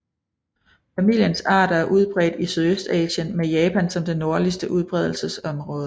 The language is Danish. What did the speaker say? Familiens arter er udbredt i Sydøstasien med Japan som det nordligste udbredelsesområde